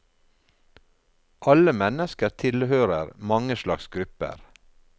Alle mennesker tilhører mange slags grupper.